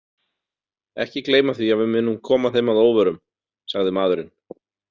Ekki gleyma því að við munum koma þeim að óvörum, sagði maðurinn.